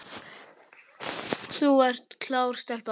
Þú ert klár stelpa.